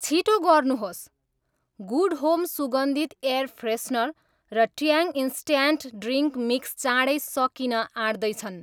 छिटो गर्नुहोस्, good home सुगन्धित एयर फ्रेसनर र ट्याङ इन्स्ट्याट्यान्ट ड्रिङ्क मिक्स चाँडै सकिन आँट्दै छन्